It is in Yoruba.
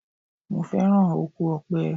Mo féràn oko Ọ̀pẹ.